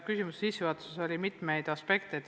Küsimuse sissejuhatuses kõlas mitmeid aspekte.